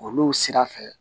Olu sira fɛ